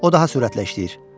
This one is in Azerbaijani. O daha sürətlə işləyir.